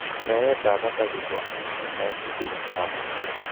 Meetab ataky ko amun en kaimutikap kapuuset.